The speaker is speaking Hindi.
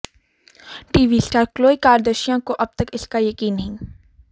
टीवी स्टार क्लोई कार्दशियां को अब तक इसका यकीन नहीं